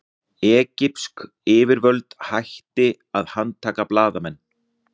Egypsk yfirvöld hætti að handtaka blaðamenn